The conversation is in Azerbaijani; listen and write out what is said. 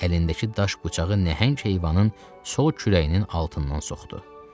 Əlindəki daş bıçağı nəhəng heyvanın sol kürəyinin altından soxdu.